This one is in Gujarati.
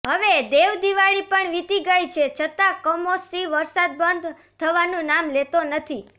હવે દેવદિવાળી પણ વીતી ગઈ છે છતાં કમોસમી વરસાદ બંધ થવાનું નામ લેતો નથી